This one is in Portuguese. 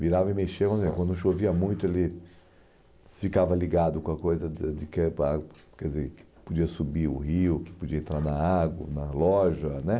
Virava e mexia, quando chovia muito ele ficava ligado com a coisa de de cair para água quer dizer que podia subir o rio, que podia entrar na água, na loja, né?